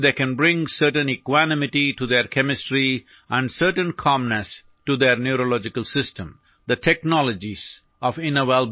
ഏവർക്കും അവരുടെ രസതന്ത്രത്തിനു സമചിത്തതയും അവരുടെ ന്യൂറോളജിക്കൽ സംവിധാനത്തിനു സുനിശ്ചിതമായ ശാന്തതയും കൊണ്ടുവരാൻ കഴിയുന്ന ലളിതമായ പരിശീലനങ്ങളായി അതു ചെയ്യാൻ കഴിയും